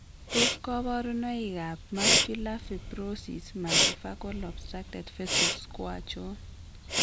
Tos kabarunoik ab Muscular fibrosis multifocal obstructed vessels ko achon?